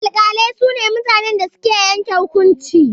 Alƙalai su ne mutanen da suke yanke hukunci.